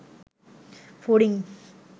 ফড়িং